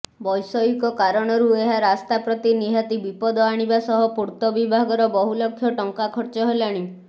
ବୈଷୟିକ କାରଣରୁ ଏହା ରାସ୍ତାପ୍ରତି ନିହାତି ବିପଦ ଆଣିବା ସହ ପୂର୍ତବିଭାଗର ବହୁଲକ୍ଷ ଟଙ୍କା ନଷ୍ଟ ହେଲାଣି